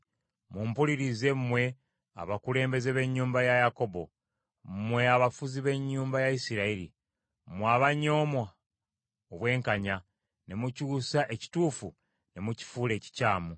Mumpulirize mmwe abakulembeze b’ennyumba ya Yakobo, Mmwe abafuzi b’ennyumba ya Isirayiri, Mmwe abanyooma obwenkanya Ne mukyusa ekituufu ne mukifuula ekikyamu;